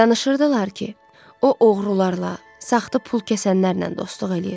Danışırdılar ki, o oğrularla, saxta pul kəsənlərlə dostluq eləyir.